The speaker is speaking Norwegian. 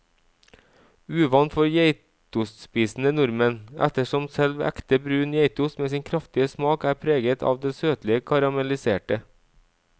Uvant for geitostspisende nordmenn, ettersom selv ekte brun geitost med sin kraftige smak er preget av det søtlige karamelliserte.